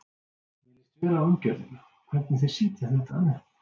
Mér líst vel á umgjörðina, hvernig þeir setja þetta upp.